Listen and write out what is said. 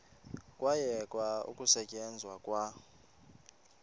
kwayekwa ukusetyenzwa kwa